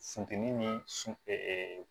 Funtɛnin ni